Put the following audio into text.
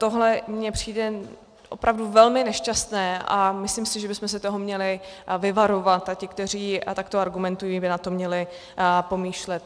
Tohle mně přijde opravdu velmi nešťastné a myslím si, že bychom se toho měli vyvarovat a ti, kteří takto argumentují, by na to měli pomýšlet.